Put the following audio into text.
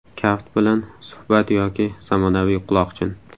Kaft bilan suhbat yoki zamonaviy quloqchin.